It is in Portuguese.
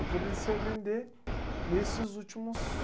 Eu comecei a vender nesses últimos...